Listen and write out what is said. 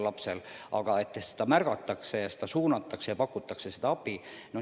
Seda märgatakse ja laps suunatakse, kuhu vaja, pakutakse talle abi.